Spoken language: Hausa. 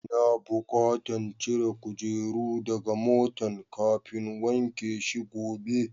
N'na bukatan cire kujerun daga motan kafin wanke shi gobe.